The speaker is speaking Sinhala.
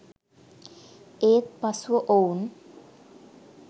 ඒත් පසුව ඔවුන්